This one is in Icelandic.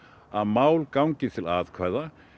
að mál gangi til atkvæða